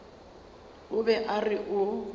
o be a re o